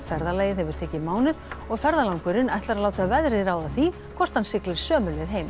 ferðalagið hefur tekið mánuð og ferðalangurinn ætlar að láta veðrið ráða því hvort hann siglir sömu leið heim